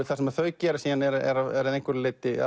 það sem þau gera er að einhverju leyti